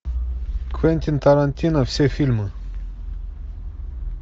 квентин тарантино все фильмы